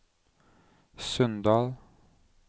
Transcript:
Sunndal